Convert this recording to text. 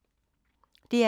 DR2